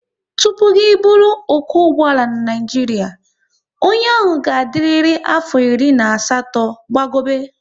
Tụpụ ị bụrụ okwo ụgbọala n'Naijiria, onye ahụ ga adịrịri afo iri na asatọ gbago be